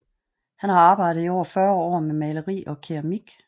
Han har arbejdet i over 40 år med maleri og keramik